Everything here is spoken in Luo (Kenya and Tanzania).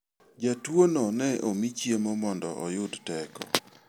Jatuono ne omi chiemo mondo oyud teko.